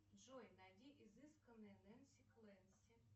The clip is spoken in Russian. джой найди изысканные нэнси клэнси